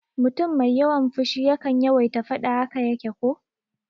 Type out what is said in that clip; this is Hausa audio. Mutum mai yawan fushi yakan yawaita faɗa, haka yace ko?